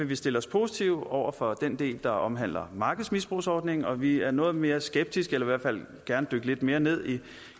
vi stille os positive over for den del der omhandler markedsmisbrugsordningen og vi er noget mere skeptiske og vil i hvert fald gerne dykke lidt mere ned